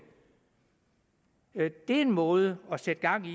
er en måde at sætte gang i